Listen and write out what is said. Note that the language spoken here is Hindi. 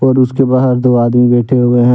और उसके बाहर दो आदमी बैठे हुए हैं।